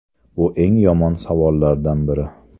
Bu eng yomon savollardan biri.